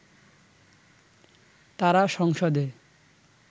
তারা সংসদে